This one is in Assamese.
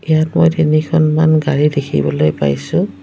ইয়াত মই তিনিখনমান গাড়ী দেখিবলৈ পাইছোঁ।